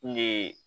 N ye